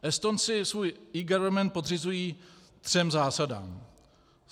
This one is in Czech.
Estonci svůj eGovernment podřizují třem zásadám.